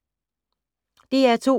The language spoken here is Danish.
DR2